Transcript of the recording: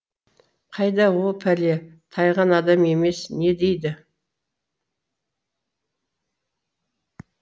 қайда о пәле тайған адам емес не дейді